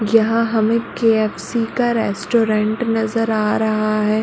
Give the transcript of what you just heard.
यहाँ हमें के.एफ.सी. का रेस्टोरेंट नज़र आ रहा है।